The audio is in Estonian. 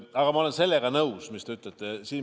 Aga ma olen sellega nõus, mis te ütlesite.